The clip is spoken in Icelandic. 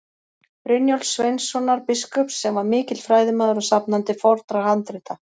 Brynjólfs Sveinssonar biskups, sem var mikill fræðimaður og safnandi fornra handrita.